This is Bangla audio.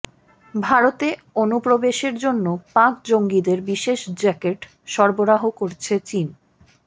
ভারতে অনুপ্রবেশের জন্য পাক জঙ্গিদের বিশেষ জ্যাকেট সরবরাহ করছে চিন